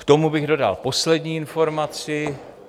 K tomu bych dodal poslední informaci.